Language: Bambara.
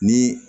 Ni